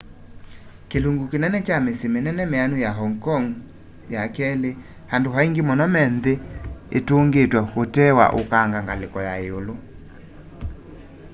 kilungu kinene kya misyi minene mianu ya hong kong ii andu aingi muno me nthi itungitwe utee wa ukanga ngaliko ya iulu